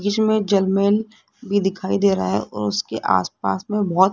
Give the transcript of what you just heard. जिस में भी दिखाई दे रहा है और उसके आसपास में बहुत--